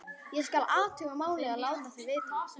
Ég: skal athuga málið og láta þig vita